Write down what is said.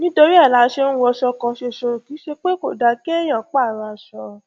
nítorí ẹ la ṣe ń wọṣọ kan ṣoṣo kì í ṣe pé kò dáa kéèyàn pààrọ aṣọ